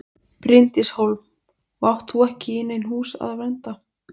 Bryndís Hólm: Og átt þú ekki í nein hús að vernda?